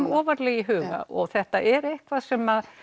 ofarlega í huga og þetta er eitthvað sem